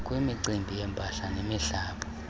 kwimicimbi yempahla nemihlaba